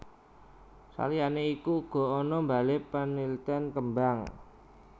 Saliyané iku uga ana balé paniltèn kembang